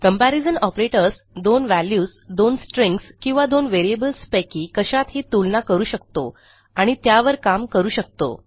comparison operators दोन values दोन strings किंवा दोन व्हेरिएबल्स पैकी कशातही तुलना करू शकतो आणि त्यावर काम करू शकतो